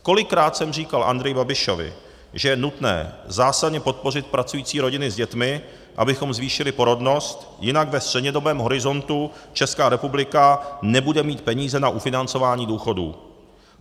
Kolikrát jsem říkal Andreji Babišovi, že je nutné zásadně podpořit pracující rodiny s dětmi, abychom zvýšili porodnost, jinak ve střednědobém horizontu Česká republika nebude mít peníze na ufinancování důchodů.